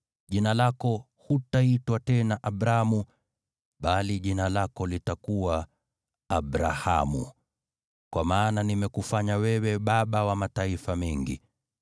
Jina lako hutaitwa tena Abramu, bali jina lako litakuwa Abrahamu, kwa maana nimekufanya wewe baba wa mataifa mengi.